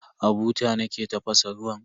A buta nake tafasa ruwan.